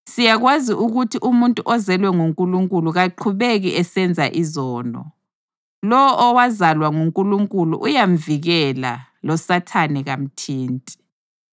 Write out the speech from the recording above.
Siyakwazi ukuthi umuntu ozelwe nguNkulunkulu kaqhubeki esenza izono; lowo owazalwa nguNkulunkulu uyamvikela, loSathane kamthinti.